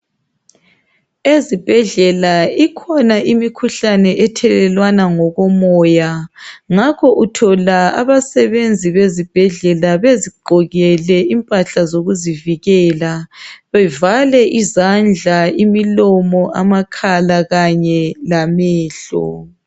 Ezibhedlela ikhona imikhuhlane ethelelwana ngokomoya, ngakho uthola abasebenzi bezibhedlela bezigqokele impahla zokuzivikela, bevale izandla, imilomo, amakhala, kanye lamehlo.